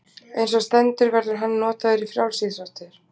Eins og stendur verður hann notaður í frjálsíþróttir.